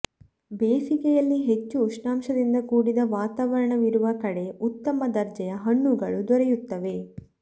ಬೇಸಿಗೆಯಲ್ಲಿ ಹೆಚ್ಚು ಉಷ್ಣಾಂಶದಿಂದ ಕೂಡಿದ ವಾತಾವರಣವಿರುವ ಕಡೆ ಉತ್ತಮ ದರ್ಜೆಯ ಹಣ್ಣುಗಳು ದೊರೆಯುತ್ತವೆ